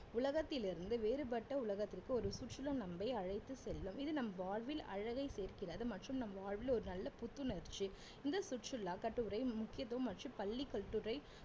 உலகத்திலிருந்து வேறுபட்ட உலகத்திற்கு ஒரு சுற்றுலா நம்மை அழைத்து செல்லும் இது நம் வாழ்வில் அழகை சேர்க்கிறது மற்றும் நம் வாழ்வில் ஒரு நல்ல புத்துணர்ச்சி இந்த சுற்றுலா கட்டுரை முக்கியத்துவம் மற்றும் பள்ளி கட்டுரை